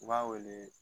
U b'a wele